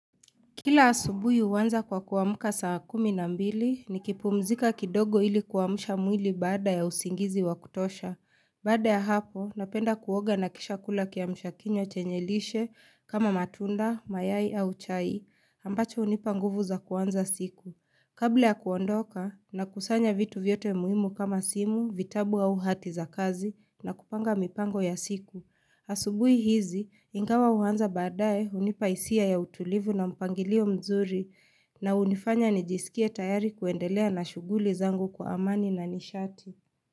Kila asubuhi huanza kwa kuamka saa kumi na mbili nikipumzika kidogo ili kuamsha mwili baada ya usingizi wa kutosha. Baada ya hapo, napenda kuoga na kisha kula kiamsha kinywa chenye lishe kama matunda, mayai au chai, ambacho hunipa nguvu za kuanza siku. Kabla ya kuondoka nakusanya vitu vyote muhimu kama simu, vitabu au hati za kazi na kupanga mipango ya siku. Asubuhi hizi, ingawa huanza baadae hunipa hisia ya utulivu na mpangilio mzuri na hunifanya nijisikie tayari kuendelea na shughuli zangu kwa amani na nishati.